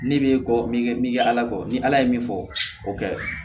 Ne bɛ kɔ min kɛ min kɛ ala kɔ ni ala ye min fɔ o kɛ